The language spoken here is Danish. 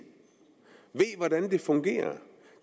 fungerer